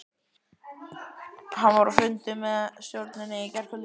Hann var á fundi með stjórninni í gærkvöldi.